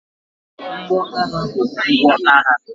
Mgbo agha bụ ngwa agha.